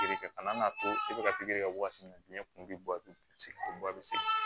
e bɛ ka pikiri kɛ waati min na diɲɛ kun bɛ bɔ sɛgɛn